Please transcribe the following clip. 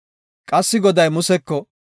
Qassi Goday Museko,